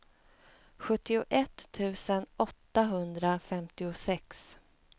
sjuttioett tusen åttahundrafemtiosex